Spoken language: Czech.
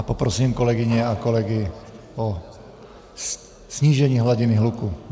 A poprosím kolegyně a kolegy o snížení hladiny hluku.